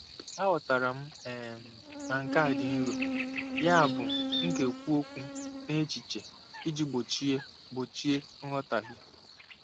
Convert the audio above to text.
Aghọtara m um na nke a dị nro, yabụ m ga-ekwu okwu n'echiche iji gbochie gbochie nghọtahie.